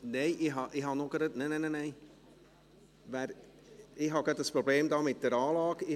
Ich habe ein Problem mit der Anlage.